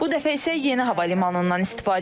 Bu dəfə isə yeni hava limanından istifadə etdik.